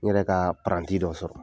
N yɛrɛ ka paranti dɔ sɔrɔ.